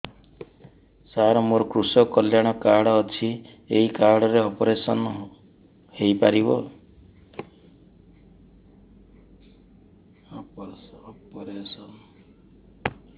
ସାର ମୋର କୃଷକ କଲ୍ୟାଣ କାର୍ଡ ଅଛି ଏହି କାର୍ଡ ରେ ଅପେରସନ ହେଇପାରିବ